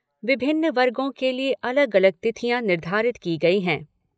विभिन्न वर्गों के लिए अलग अलग तिथियां निर्धारित की गई हैं।